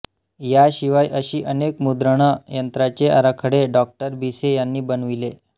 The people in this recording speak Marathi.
याशिवाय अशी अनेक मुद्रण यंत्रांचे आराखडे डॉ भिसे यांनी बनविले